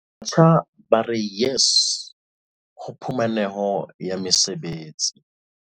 Batjha ba re YES ho phumaneho ya mesebetsi